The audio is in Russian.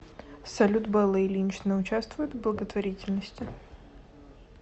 салют белла ильинична учавствует в благотворительности